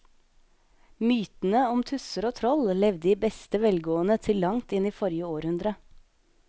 Mytene om tusser og troll levde i beste velgående til langt inn i forrige århundre.